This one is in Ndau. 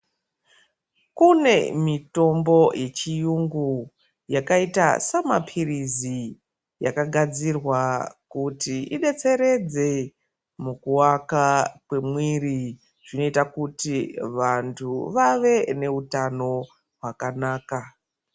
Kune mitombo yechiyungu yakaita semapirizi yakagadairwa kuti ibetseredze mukuvakwa kwemiri zvinoita kuti vantu vave neutano hwakanaka.